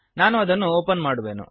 ನಾನು ಅದನ್ನು ಓಪನ್ ಮಾಡುವೆನು